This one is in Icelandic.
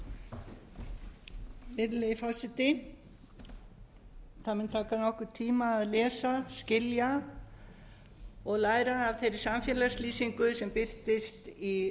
virðulegi forseti það mun taka nokkurn tíma að lesa skilja og læra af þeirri samfélagslýsingu sem birtist í